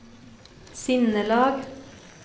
sinnelag